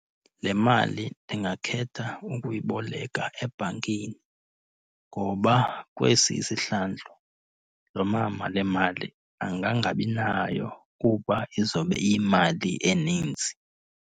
Le mali ndingakhetha ukuyiboleka ebhankini ngoba kwesi isihlandlo lo mama le mali angangabinayo kuba izobe iyimali eninzi.